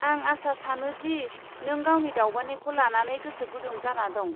आं आसा सानो दि नों गावनि दावबायनायखौ लानानै गोसो गुदुं जाना दं।